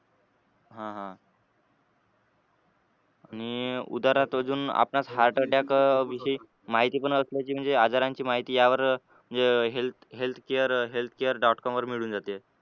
हा हा आणि उदाहरणार्थ अजून आपल्यास heart attack विषयी माहिती पण असल्याची माहित म्हणजे आजारांची माहिती यावर अह healthcare. com वर मिळून जाते.